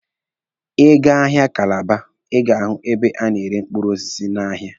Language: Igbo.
Ị gaa n'ahịa Kalaba, Ị ga-ahụ ebe a na-ere mkpụrụ osisi n'ahịa.